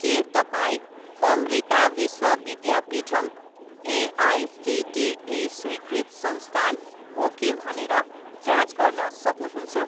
के तपाईँँ अमृता विश्व विद्यापीठम् एआइसिटिई स्वीकृत संस्थान हो कि भनेर जाँच गर्न सक्नुहुन्छ?